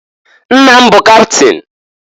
Nna m bụ kapịtịn.